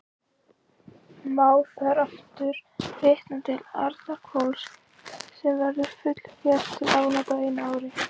Má þar aftur vitna til Arnarhvols, sem verður fullger til afnota á einu ári.